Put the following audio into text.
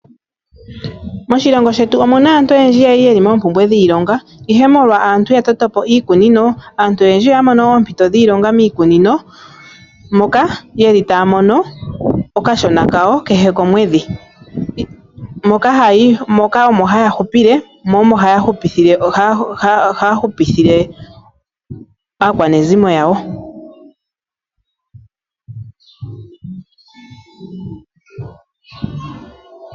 Moshilongi shetu omuna aantu oyendji yali yeli moompumbwe dhiilonga, ihe molwa sho aantu ya toto po iikunino, aantu oyendji oya mono oompito dhiilonga miikunino moka yeli taya mono okashona kawo kehe komwedhi. Moka haya hupile, mo omo haya hupithile aakwanezimo yawo.